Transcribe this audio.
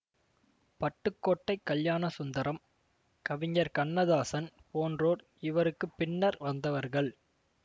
பட்டுக்கோட்டை கல்யாணசுந்தரம் கவிஞர் கண்ணதாசன் போன்றோர் இவருக்கு பின்னர் வந்தவர்கள்